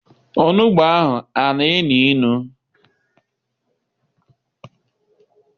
Onugbu ahụ ana enu inu?